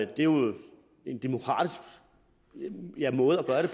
er jo en demokratisk måde at gøre det